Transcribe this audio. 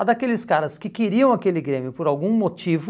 A daqueles caras que queriam aquele Grêmio por algum motivo...